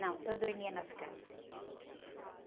Não, eu dormia nas casas.